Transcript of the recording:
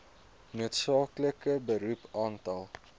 noodsaaklike beroep aantal